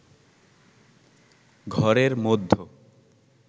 ঘরের মধ্য